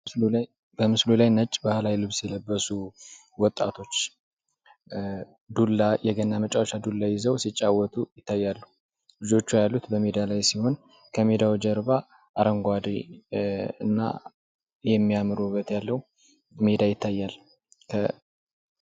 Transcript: በምስሉ ላይ ነጭ ባህላዊ ልብስ የለበሱ ወጣቶች ዱላ የገና መጨረሻ ዱላ ይዘው ሲጫወቱ ይታያሉ። ልጆቹ ያሉት በሜዳ ላይ ሲሆን ከሜዳው ጀርባ አረንጓዴ እና የሚያምር ውበት ያለው ሜዳ ይታያል።